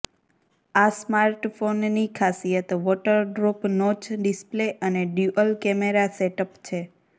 આ સ્માર્ટફોનની ખાસિયત વોટર ડ્રોપ નોચ ડિસ્પ્લે અને ડ્યૂઅલ કેમેરા સેટઅપ છે